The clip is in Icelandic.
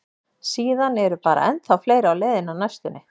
Síðan eru bara ennþá fleiri á leiðinni á næstunni.